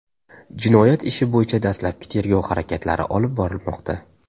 Jinoyat ishi bo‘yicha dastlabki tergov harakatlari olib borilmoqda.